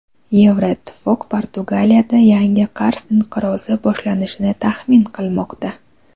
Yevroittifoq Portugaliyada yangi qarz inqirozi boshlanishini taxmin qilmoqda.